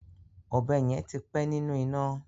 Ọ̀bẹ yẹn ti pẹ́ nínú iná.